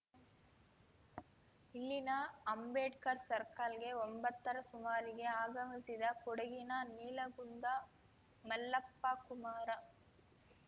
ಇಲ್ಲಿನ ಅಂಬೇಡ್ಕರ್‌ ಸರ್ಕಲ್‌ಗೆ ಒಂಬತ್ತರ ಸುಮಾರಿಗೆ ಆಗಮಿಸಿದ ಕೊಡಗಿನ ನೀಲಗುಂದ ಮಲ್ಲಪ್ಪ ಕುಮಾರ